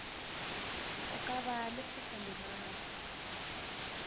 go ka ba le setlamorago